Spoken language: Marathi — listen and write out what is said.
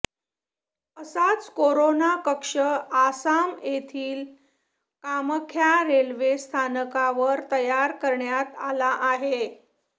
असाच कोरोना कक्ष आसाम येथील कामाख्या रेल्वे स्थानकावर तयार करण्यात आला आहे